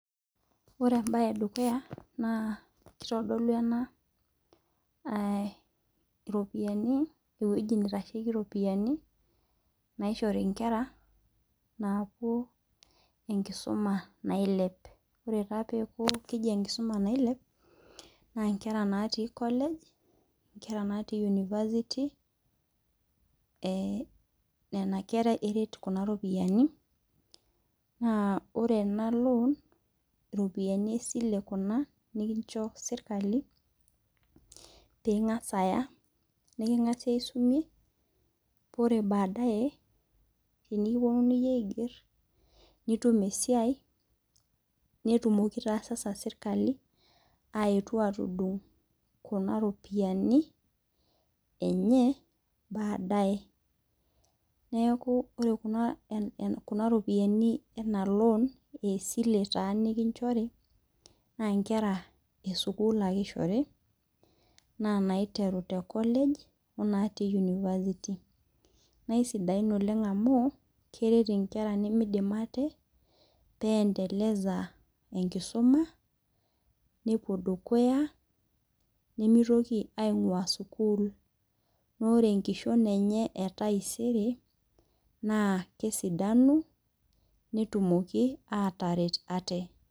Ore ebae edukuya naa kitodolu enaa iropiani eweji naitasheki iropiani naishori inkera napuo enkisuma nailep. Oree taa peeku keji enkisuma nailep naa inkera naati college inkera naati university nena kera eret nena ropiani. Naa ore ena loan iropiani esile kuna nikincho sirikali ping'as aya niking'asie asumie peyie ore baadaye tenikipuonunui aiger nitum esiai netumoki taasasa serikali aetu atudung' kuna ropiani enye baadaye . Neeku ore kuna ropiani ena loan aa esile taa nikinchori naa inkera esukul ake ishori naa naiteru te college oo naatii university naa isidain oleng' amu eret inkera nemieidim aate peem endeleza enkisuma nepuo dukuya nemeitoki aing'ua sukul. Naa ore enkishom enye ee taisere naa kesidanu netumoki ataret aate.